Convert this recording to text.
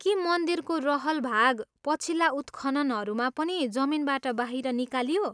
के मन्दिरको रहल भाग पछिल्ला उत्खननहरूमा पनि जमिनबाट बाहिर निकालियो?